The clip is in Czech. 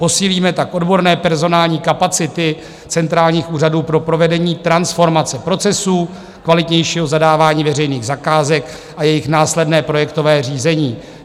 Posílíme tak odborné personální kapacity centrálních úřadů pro provedení transformace procesů, kvalitnějšího zadávání veřejných zakázek a jejich následné projektové řízení.